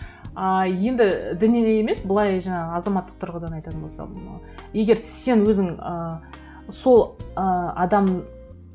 ыыы енді діни емес былай жаңағы азаматтық тұрғыдан айтатын болсам егер сен өзің ыыы сол ыыы адам